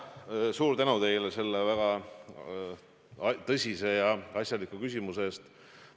Suur tänu teile selle väga tõsise ja asjaliku küsimuse eest!